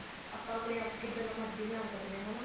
ਆਪਾਂ ਆਪਣੇ ਆਪ ਕਿੱਦਾਂ ਦਾ ਮਰਜੀ ਬਣਾ ਸਕਦੇ ਹਾਂ ਹਨਾ